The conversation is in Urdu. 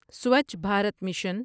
سوچھ بھارت مشن